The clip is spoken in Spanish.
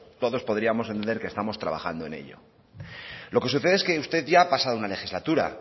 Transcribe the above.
todos podríamos entender que estamos trabajando en ello lo que sucede es que usted ya ha pasado una legislatura